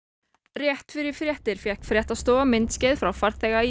rétt fyrir fréttir fékk fréttastofa myndskeið frá farþega í